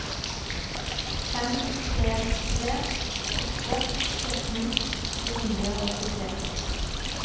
fem tre tre åtte sytten to hundre og åttitre